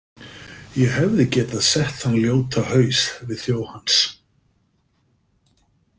Ég hefði getað sett þann ljóta haus við þjó hans.